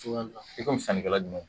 I komi sannikɛla jumɛn?